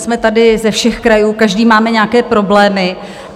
Jsme tady ze všech krajů, každý máme nějaké problémy.